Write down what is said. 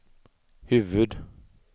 huvud